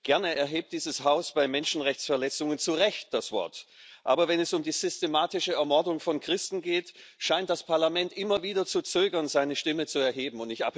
Gerne erhebt dieses Haus bei Menschenrechtsverletzungen zu Recht das Wort, aber wenn es um die systematische Ermordung von Christen geht, scheint das Parlament immer wieder zu zögern, seine Stimme zu erheben.